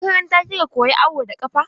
A makaranta kika koya awo da ƙafa?